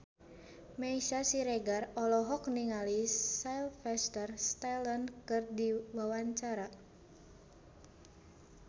Meisya Siregar olohok ningali Sylvester Stallone keur diwawancara